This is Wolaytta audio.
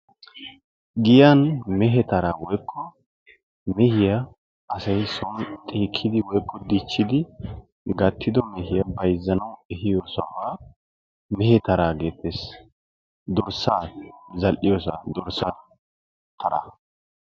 Giyaan mehe taran woykko asay meehiyaa xiikkidi woykko dichchidi gattido mehiyaa bayzzanawu ehiyoo sohuwaa mehe taraa geettees. dorssaa zal"iyoosaa dorssaa taraa